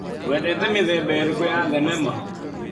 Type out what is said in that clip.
Wendete mĩthemba ĩrĩkũ ya thenema?